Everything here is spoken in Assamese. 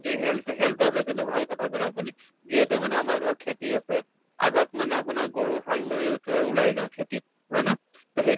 health, health ক লৈ কেনে ভাল কথা কʼলে আপুনি । যিহেত আমাৰ ধৰক খেতি আছে, আগত মানে আপোনাৰ গৰু হাল লৈ একেবাৰে উলাই যাওঁ, খেতিত । হয় নে ? তʼ সেই